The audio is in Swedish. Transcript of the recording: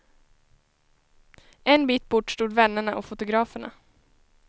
En bit bort stod vännerna och fotograferna.